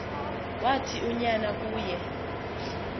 wathi unyana kuye